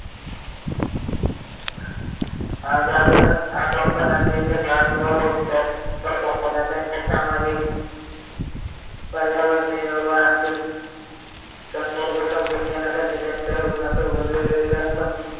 आजार आजारपणाचे निदान व उपचार करत असताना त्यांच्या सामाजिक पर्यावरणीय व आर्थिक संदर्भ समजून घेण्यासाठी त्यांच्या रुग्णासोबत सोबत वेगवेगळ्या